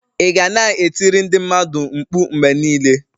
Ị ga na-e tiri ndị mmadụ mkpu mgbe niile?